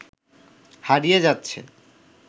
হারিয়ে যাচ্ছে